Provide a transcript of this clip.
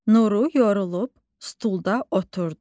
Nuru yorulub stulda oturdu.